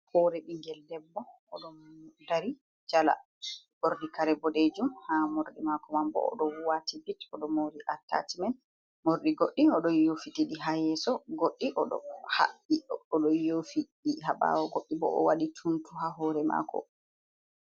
Hoore ɓiggel debbo oɗo dari jala, ɓorni kare boɗejum ha morɗi mako manbo oɗo wati bit oɗo mori atacimen. Morɗi godɗi oɗo yofitiɗi ha yeso godɗi bo oɗo yofiɗi ha ɓawo. Goddi bo owaɗi tuntu ha hoore mako.